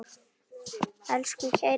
Elsku kæri vinur okkar.